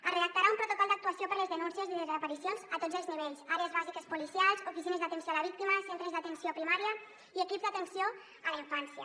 es redactarà un protocol d’actuació per a les denúncies de desaparicions a tots els nivells àrees bàsiques policials oficines d’atenció a la víctima centres d’atenció primària i equips d’atenció a la infància